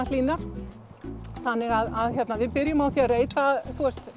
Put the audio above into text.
hlýnar þannig að við byrjum á að reyta